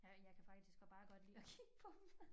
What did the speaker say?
Her jeg kan faktisk bare godt lide at kigge på dem